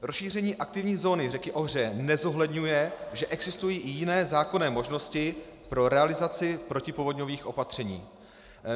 Rozšíření aktivní zóny řeky Ohře nezohledňuje, že existují i jiné zákonné možnosti pro realizaci protipovodňových opatření.